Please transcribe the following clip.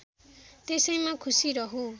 त्यसैमा खुशी रहु